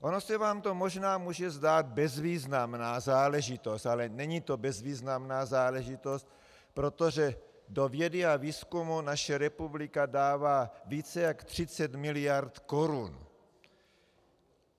Ono se vám to možná může zdát bezvýznamná záležitost, ale není to bezvýznamná záležitost, protože do vědy a výzkumu naše republika dává více jak 30 miliard korun.